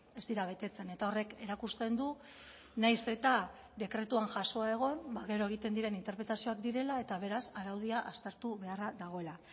ez dira betetzen eta horrek erakusten du nahiz eta dekretuan jasoa egon gero egiten diren interpretazioak direla eta beraz araudia aztertu beharra dagoela